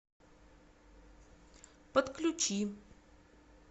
подключи